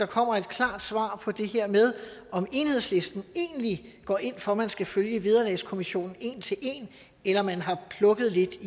kommer et klart svar på det her med om enhedslisten egentlig går ind for at man skal følge vederlagskommissionen en til en eller om man har plukket lidt